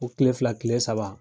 Ko kile fila kile saba